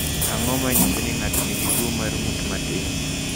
Ang’o ma nyiso ni ng’ato nigi tuwo mar ng’ut matin?